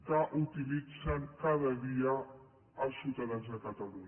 que utilitzen cada dia els ciutadans de catalunya